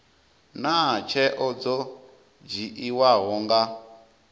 naa tsheo dzo dzhiiwaho nga